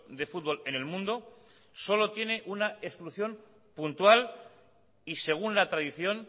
de fútbol en el mundo solo tiene una exclusión puntual y según la tradición